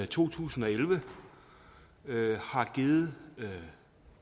to tusind og elleve har givet